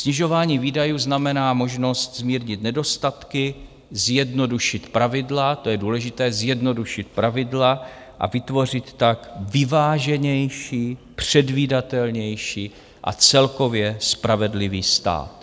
Snižování výdajů znamená možnost zmírnit nedostatky, zjednodušit pravidla - to je důležité, zjednodušit pravidla a vytvořit tak vyváženější, předvídatelnější a celkově spravedlivý stát.